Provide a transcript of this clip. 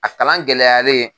A kalan gɛlɛyalen